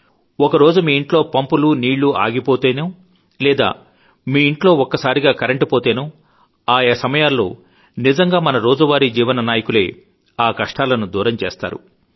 ఒకరోజు మీ ఇంట్లో పంపులో నీళ్లు ఆగిపోతేనో లేదా మీ ఇంట్లో ఒక్కసారిగా కరంట్ పోతేనో ఆయా సమయాల్లో నిజంగా మన రోజువారి జీవన నాయకులే ఆకష్టాలను దూరం చేస్తారు